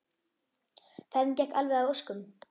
Ferðin gekk alveg að óskum.